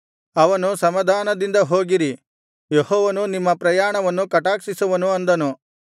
ಅವನು ಸಮಾಧಾನದಿಂದ ಹೋಗಿರಿ ಯೆಹೋವನು ನಿಮ್ಮ ಪ್ರಯಾಣವನ್ನು ಕಟಾಕ್ಷಿಸುವನು ಅಂದನು